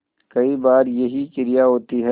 कई बार यही क्रिया होती है